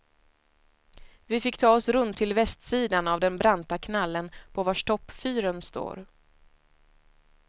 Vi fick ta oss runt till västsidan av den branta knallen på vars topp fyren står.